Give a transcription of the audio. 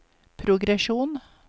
progresjon